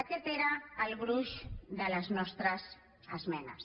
aquest era el gruix de les nostres esmenes